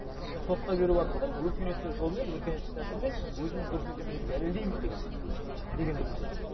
сотқа беру арқылы өркениеттік жолмен өркениеттік тәсілмен өзімнің дұрыс екенін дәлелдеймін деген дегенді білдіреді